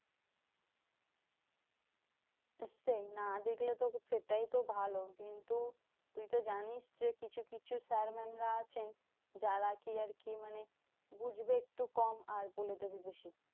নিশ্চই না দেখলে তো সেটাই তো ভালো। কিন্তু তুই তো জানিস যে কিছু কিছু sir mam রা আছেন। যারা কি আরকি মানে বুঝবে একটু কম, আর বলে দেবে বেশি।